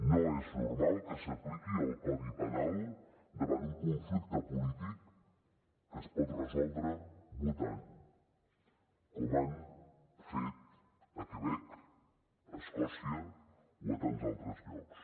no és normal que s’apliqui el codi penal davant un conflicte polític que es pot resoldre votant com han fet al quebec a escòcia o a tants altres llocs